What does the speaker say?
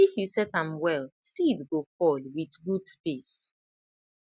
if you set am well seed go fall with good space